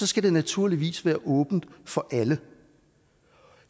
skal det naturligvis være åbent for alle